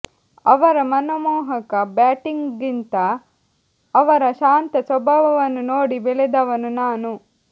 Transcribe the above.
ಅವರ ಮನಮೋಹಕ ಬ್ಯಾಟಿಂಗ್ಗಿಂತ ಅವರ ಶಾಂತ ಸ್ವಭಾವವನ್ನು ನೋಡಿ ಬೆಳೆದವನು ನಾನು